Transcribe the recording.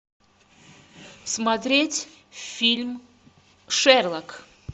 смотреть фильм шерлок